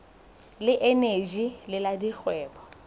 le eneji le la dikgwebo